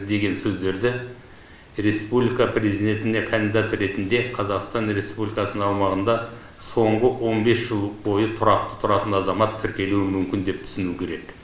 деген сөздерді республика президентіне кандидат ретінде қазақстан республикасының аумағында соңғы он бес жыл бойы тұрақты тұратын азамат тіркелуі мүмкін деп түсінуі керек